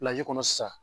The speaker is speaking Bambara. kɔnɔ sisan